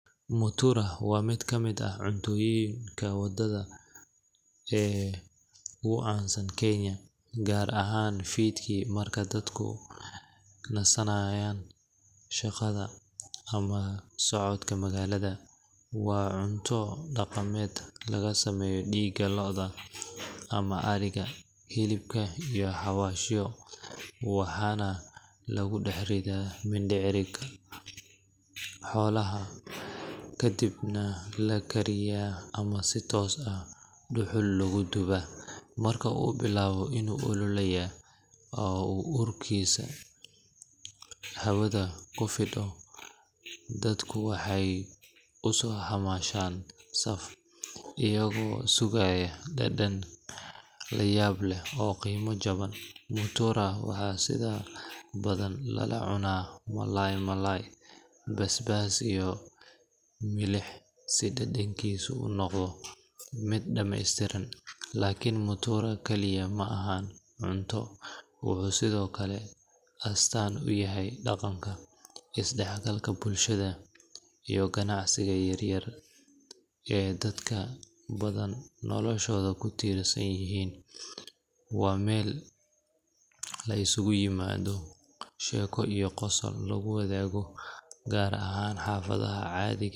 Mutura waa mid ka mid ah cuntooyinka waddo ee ugu caansan Kenya, gaar ahaan fiidkii marka dadku ka nasanayaan shaqada ama socodka magaalada. Waa nooc cunto dhaqameed laga sameeyo dhiigga lo’da ama ariga, hilibka, iyo xawaashyo, waxaana lagu dhex ridaa mindhicirka xoolaha ka dibna la kariyaa ama si toos ah dhuxul loogu dubaa. Marka uu bilaabo inuu ololaya oo uu urkiisu hawada ku fido, dadku waxay u soo xamaashaan saf, iyagoo sugaya dhadhan la yaab leh oo qiimo jaban. Mutura waxaa sida badan lala cunaa malay-malay, basbaas, iyo milix si dhadhankiisu u noqdo mid dhammaystiran. Laakiin mutura kaliya ma ahan cunto wuxuu sidoo kale astaan u yahay dhaqanka, isdhexgalka bulshada, iyo ganacsiga yar-yar ee dad badan noloshooda ku tiirsan yihiin. Waa meel la isugu yimaado, sheeko iyo qosol lagu wadaago, gaar ahaan xaafadaha caadiga.